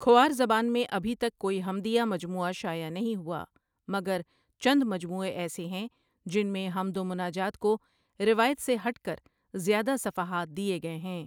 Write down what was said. کھوار زبان میں ابھی تک کوئی حمدیہ مجمویہ شائع نہیں ہوا مگر چند مجموعے ایسے ہیں جن میں حمد و مناجات کو روایت سے ہٹ کرزیادہ صفحات دیے گئے ہیں